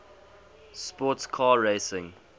sports car racing